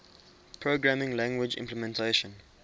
programming language implementation